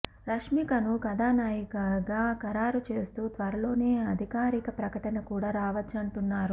రష్మికను కథానాయికగా ఖరారు చేస్తూ త్వరలోనే అధికారిక ప్రకటన కూడా రావచ్చంటున్నారు